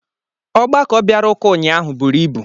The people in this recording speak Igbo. Ọgbakọ bịara ụka ụnyaahụ buru ịbu